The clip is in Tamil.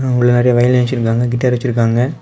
முன்னாடி வயலின் வச்சிருக்காங்க கிட்டார் வச்சிருக்காங்க.